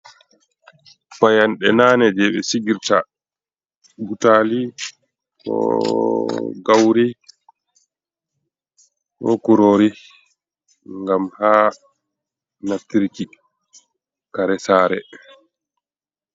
Payanɗe nane je ɓe sigirta butali ko gauri ko kurori gam ha naftirki kare sare.